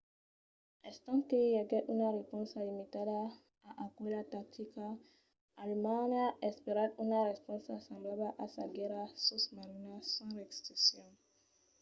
estant que i aguèt una responsa limitada a aquela tactica alemanha espèret una responsa semblabla a sa guèrra sosmarina sens restriccions